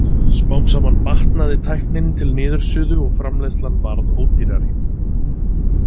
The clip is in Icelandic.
Smám saman batnaði tæknin til niðursuðu og framleiðslan varð ódýrari.